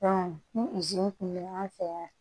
ni kun be an fɛ yan